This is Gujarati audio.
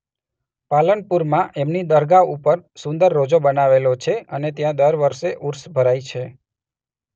પાલનપુરમાં એમની દરગાહ ઉપર સુંદર રોજો બનાવેલો છે અને ત્યાં દર વર્ષે ઉર્ષ ભરાય છે.